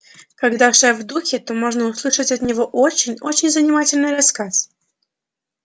когда шеф в духе то можно услышать от него очень очень занимательный рассказ